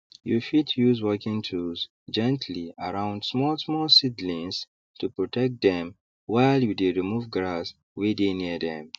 you fit use working tools gently around smallsmall seedlings to protect dem while you dey remove grass wey dey near dem